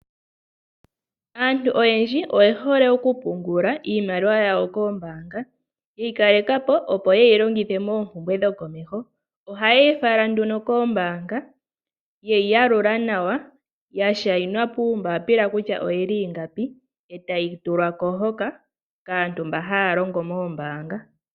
Aantu oyendji oyehole okupungula iimaliwa yawo koombaanga, yeyikalekapo opo yeyi longithe moompumbwe dhokomeho. Ohayeyi fala nduno koombaanga, yeyi yalula nawa, yashainwa puumbapila kutya oyili ingapi, e tayi tulwako hoka kaantu mba haya longo moombaanga.